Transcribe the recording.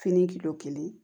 Fini kilo kelen